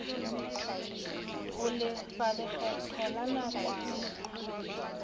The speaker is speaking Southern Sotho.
ho lefa lekgetho la nakwana